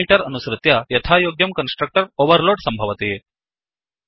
parameter अनुसृत्य यथायोग्यं constructor overload सम्भवति